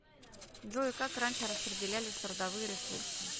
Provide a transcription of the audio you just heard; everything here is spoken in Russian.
джой как раньше распределялись трудовые ресурсы